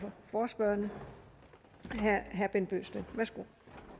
forespørgerne herre bent bøgsted værsgo